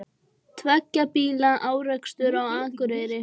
Tveggja bíla árekstur á Akureyri